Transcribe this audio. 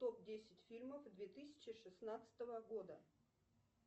топ десять фильмов две тысячи шестнадцатого года